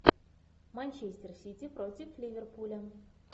манчестер сити против ливерпуля